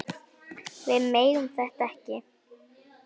Við megum þetta ekki!